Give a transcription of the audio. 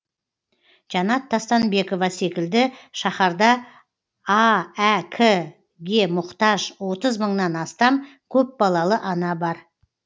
жанат тастанбекова секілді шаһарда аәк ке мұқтаж отыз мыңнан астам көпбалалы ана бар